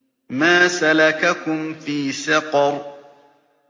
مَا سَلَكَكُمْ فِي سَقَرَ